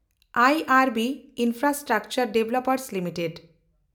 I and B infrastructure and developments limited